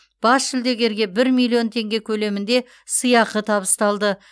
бас жүлдегерге бір миллион теңге көлемінде сыйақы табысталды